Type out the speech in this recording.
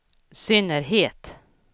synnerhet